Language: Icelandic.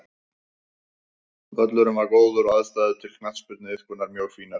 Völlurinn var góður og aðstæður til knattspyrnuiðkunar mjög fínar.